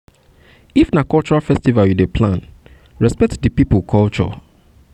if na cultural festival you dey plan respect di pipo culture culture